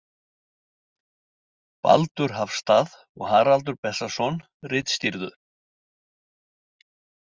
Baldur Hafstað og Haraldur Bessason ritstýrðu.